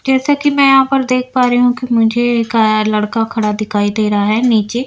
जैसा कि मैं यहां पर देख पा रही हूं कि मुझे एक अ लड़का खड़ा दिखाई दे रहा है नीचे --